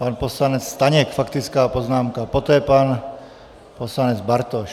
Pan poslanec Staněk, faktická poznámka, poté pan poslanec Bartoš.